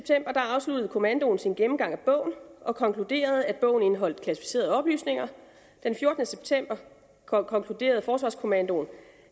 afsluttede kommandoen sin gennemgang af bogen og konkluderede at bogen indeholdt klassificerede oplysninger den fjortende september konkluderede forsvarskommandoen